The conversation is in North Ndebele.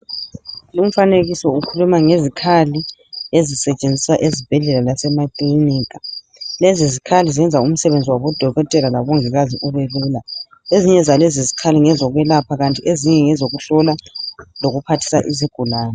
Lumfanekiso ukhuluma ngezikhali ezisetshenziswa ezibhedlela lasemakilinika. lezizikhali zenza umsebenzi wabodokotela labomongikazi ubelula. Ezinye zalezizikhali ngezokwelapha kanti ezinye ngezokuhlola lokuphathisa izigulane.